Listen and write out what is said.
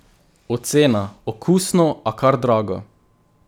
Ocena: 'Okusno, a kar drago.